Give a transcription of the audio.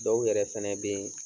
Dɔw yɛrɛ fɛnɛ be yen